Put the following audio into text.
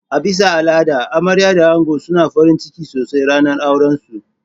A bisa al'ada amarya da ango suna farinciki sosai ranar auran su.